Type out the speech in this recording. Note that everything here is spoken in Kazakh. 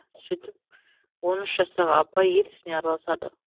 сөйтіп он үш жастағы абай ел ісіне араласады